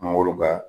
Mangoro ka